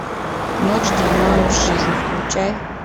ночь длиною в жизнь включай